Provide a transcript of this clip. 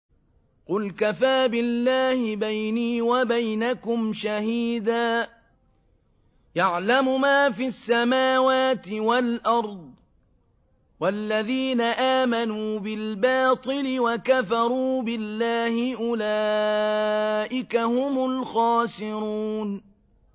قُلْ كَفَىٰ بِاللَّهِ بَيْنِي وَبَيْنَكُمْ شَهِيدًا ۖ يَعْلَمُ مَا فِي السَّمَاوَاتِ وَالْأَرْضِ ۗ وَالَّذِينَ آمَنُوا بِالْبَاطِلِ وَكَفَرُوا بِاللَّهِ أُولَٰئِكَ هُمُ الْخَاسِرُونَ